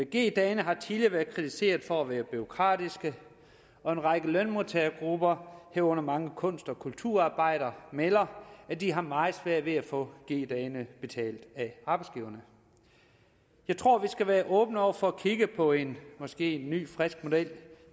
g dagene har tidligere været kritiseret for at være bureaukratiske og en række lønmodtagergrupper herunder mange kunst og kulturarbejdere melder at de har meget svært ved at få g dagene betalt af arbejdsgiverne jeg tror vi skal være åbne over for at kigge på en måske ny frisk model